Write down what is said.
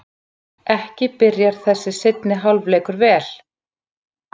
Ekki byrjar þessi seinni hálfleikur vel!